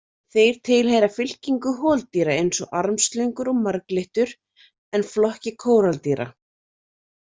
Þeir tilheyra fylkingu holdýra eins og armslöngur og marglyttur en flokki kóraldýra.